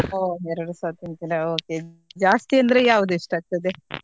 ಹೊ ಎರಡುಸ ತಿಂತಿರಾ okay ಜಾಸ್ತಿ ಅಂದ್ರೆ ಯಾವ್ದು ಇಷ್ಟ ಆಗ್ತದೆ?